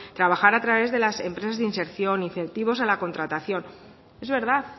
trabajar a través de las empresas de inserción incentivos a la contratación es verdad